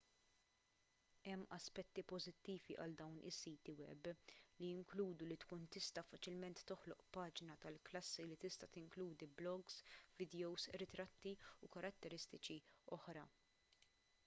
hemm aspetti pożittivi għal dawn is-siti web li jinkludu li tkun tista' faċilment toħloq paġna tal-klassi li tista' tinkludi blogs vidjows ritratti u karatteristiċi oħra